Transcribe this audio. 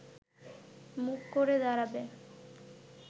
মুখ করে দাঁড়াবে